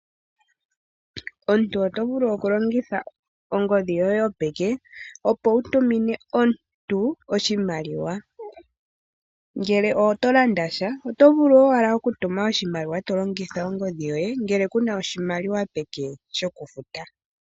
Omuntu otovulu okulongitha ongodhi yoye yo peke wutumine omuntu oshimaliwa ngele oto landa sha otovulu owala okutuna oshimaliwa tolongitha ongodhi yoye ngele kunasha oshimaliwa peke.